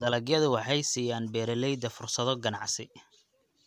Dalagyadu waxay siiyaan beeralayda fursado ganacsi.